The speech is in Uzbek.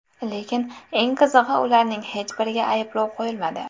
Lekin eng qizig‘i, ularning hech biriga ayblov qo‘yilmadi.